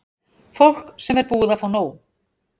Fólk sem er búið að fá nóg.